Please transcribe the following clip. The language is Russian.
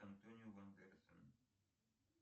антонио бандерасом